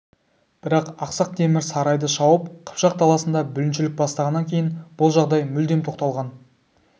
бірақ ақсақ темір сарайды шауып қыпшақ даласында бүліншілік бастағаннан кейін бұл жағдай мүлдем тоқталған